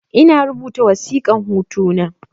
Ina rubuta wasiƙar hutu na